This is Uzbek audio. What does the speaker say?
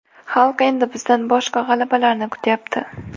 Xalq endi bizdan boshqa g‘alabalarni kutyapti.